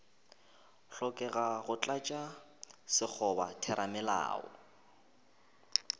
hlokega go tlatša sekgoba theramelao